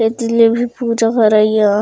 ए तीर ले भी पूजा करइ या --